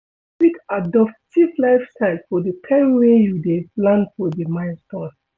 you fit adopt cheap lifestyle for di time wey you dey plan for di milestone